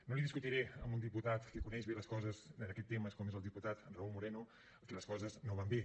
no li discutiré a un diputat que coneix bé les coses en aquest tema com és el diputat raúl moreno que les coses no van bé